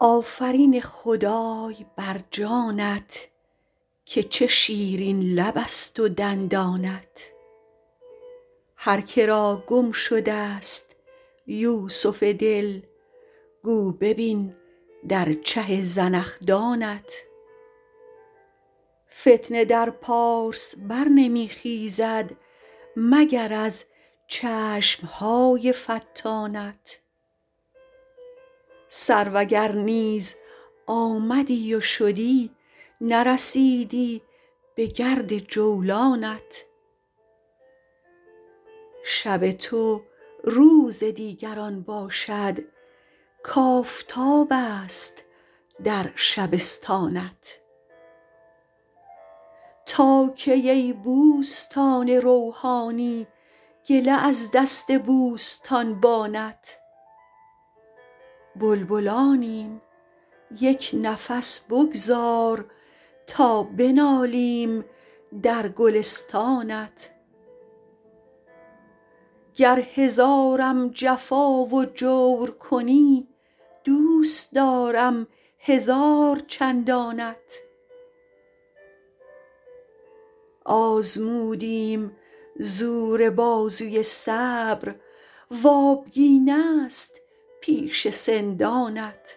آفرین خدای بر جانت که چه شیرین لبست و دندانت هر که را گم شدست یوسف دل گو ببین در چه زنخدانت فتنه در پارس بر نمی خیزد مگر از چشم های فتانت سرو اگر نیز آمدی و شدی نرسیدی بگرد جولانت شب تو روز دیگران باشد کآفتابست در شبستانت تا کی ای بوستان روحانی گله از دست بوستانبانت بلبلانیم یک نفس بگذار تا بنالیم در گلستانت گر هزارم جفا و جور کنی دوست دارم هزار چندانت آزمودیم زور بازوی صبر و آبگینست پیش سندانت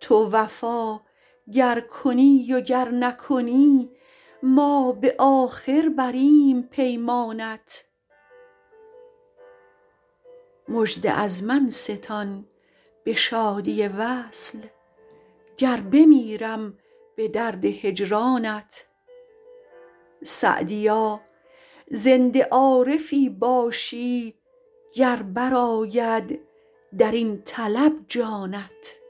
تو وفا گر کنی و گر نکنی ما به آخر بریم پیمانت مژده از من ستان به شادی وصل گر بمیرم به درد هجرانت سعدیا زنده عارفی باشی گر برآید در این طلب جانت